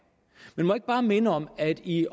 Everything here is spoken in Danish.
men må jeg ikke bare minde om at i